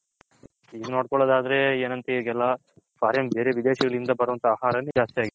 ಈಗ ನೋಡ್ಕೊಲಾದ್ ಆದ್ರೆ foreign ಬೇರೆ ವಿದೇಶಗಳಿಂದ ಬರೋಂಥ ಆಹಾರ ದ್ಯಸ್ತಿ ಆಗಿದೆ.